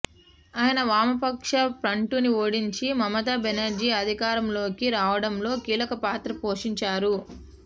ఆయన వామపక్ష ఫ్రంట్ను ఓడించి మమతా బెనర్జీ అధికారంలోకి రావడంలో కీలక పాత్ర పోషించారు